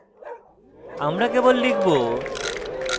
আমরা কেবল লিখব: